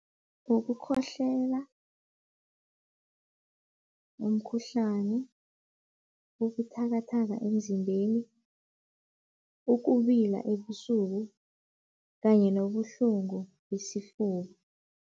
Ngokukhohlela, umkhuhlani, ubuthakathaka emzimbeni, ukubila ebusuku kanye nobuhlungu besifuba.